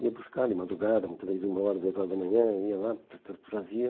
Ia buscar de madrugada, muitas vezes uma hora, duas horas da manhã, ia lá, tra tra trazia.